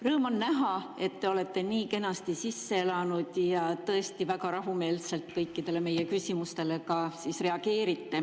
Rõõm on näha, et te olete nii kenasti sisse elanud ja tõesti väga rahumeelselt reageerite kõikidele meie küsimustele.